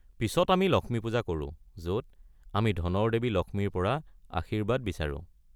পিছত আমি লক্ষ্মী পূজা কৰো, য'ত আমি ধনৰ দেৱী লক্ষ্মীৰ পৰা আশীৰ্বাদ বিচাৰোঁ।